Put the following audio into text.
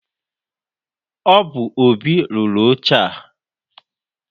Ọ bu Óbị rụrụ oche a.